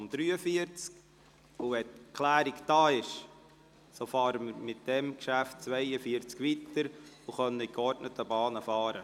Sobald die Klärung vorliegt, fahren wir mit dem Traktandum 42 weiter und können dies in geordneten Bahnen tun.